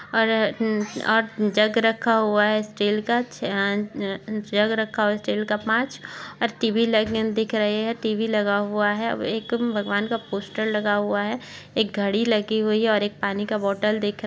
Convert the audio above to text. और र अमम और जग रखा हुआ हैं स्टील का चा छ जग रखा हुआ है स्टील का पाँच और टी_वी लगी दिख रही है टी_वी लगा हुआ है एक भगवान का पोस्टर लगा हुआ है एक घड़ी लगी हुई हैऔर एक पानी का बोतल दिख --